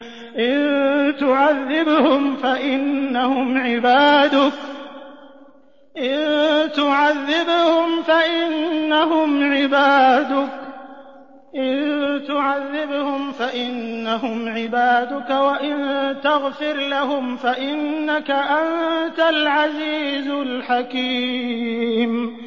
إِن تُعَذِّبْهُمْ فَإِنَّهُمْ عِبَادُكَ ۖ وَإِن تَغْفِرْ لَهُمْ فَإِنَّكَ أَنتَ الْعَزِيزُ الْحَكِيمُ